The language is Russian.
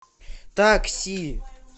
такси